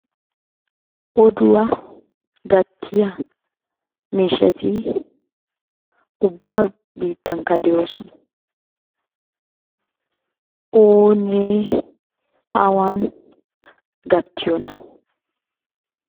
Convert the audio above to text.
Odduwaa gattiyaa miishshati ubba biittanikka de'ossona. Oone awaani gattiyoona?